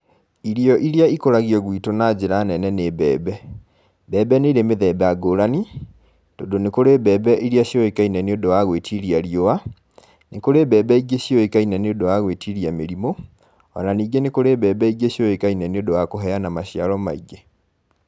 Irio iria ĩkũragio gwĩtũ na njĩra nene nĩ mbembe. Mbembe nĩ irĩ mĩthemba ngũrani, tondũ nĩ kũrĩ mbembe iria cĩũĩkaine nĩũndũ wa gwĩtiria riũa, nĩ kũrĩ mbembe ingĩ ciũĩkaine nĩ ũndũ wa gwĩtiria mĩrimũ, o na ningĩ nĩ kũrĩ mbembe ingĩ ciũĩkaine nĩũndũ wa kũheana maciaro maingĩ.